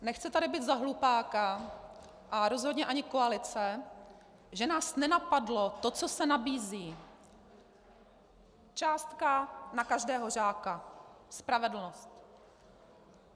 Nechci tady být za hlupáka a rozhodně ani koalice, že nás nenapadlo to, co se nabízí - částka na každého žáka, spravedlnost.